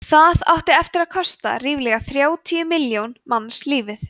það átti eftir að kosta ríflega þrjátíu milljón manns lífið